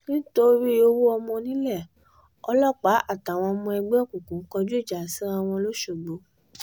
nítorí ọwọ́ ọmọ onílẹ̀ ọlọ́pàá àtàwọn ọmọ ẹgbẹ́ òkùnkùn kọjú ìjà síra wọn lọ́sọ̀gbó